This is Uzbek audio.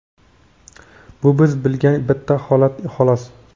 bu biz bilgan bitta holat, xolos.